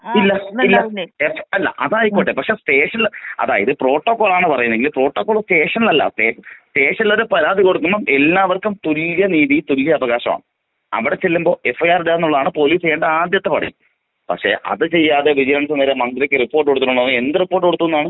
ഇല്ല ഇല്ല not clear അല്ല അത് ആയിക്കോട്ടെ പക്ഷേ സ്റ്റേഷനില് അതായത് പ്രോട്ടോകോളാണ് പറയുന്നതെങ്കില് പ്രോട്ടോകോൾ സ്റ്റേഷനിലല്ല സ്റ്റേഷനിലത് പരാതി കൊടുക്കുമ്പോ എല്ലാവർക്കും തുല്യനീതി തുല്യ അവകാശമാണ്. അവിടെ ചെല്ലുമ്പോ എഫ്ഐആർ ഇടുക എന്നുള്ളതാണ് പോലീസ് ചെയ്യേണ്ട ആദ്യത്തെ പണി പക്ഷേ അത് ചെയ്യാതെ വിജിലൻസ് നേരെ മന്ത്രിക്ക് റിപ്പോർട്ട് കൊടുത്തിരിക്കുന്നു എന്ന് പറഞ്ഞ് എന്ത് റിപ്പോർട്ട് കൊടുത്തൂന്നാണ്.